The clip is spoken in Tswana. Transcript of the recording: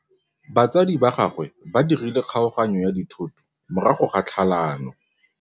Batsadi ba gagwe ba dirile kgaoganyô ya dithoto morago ga tlhalanô.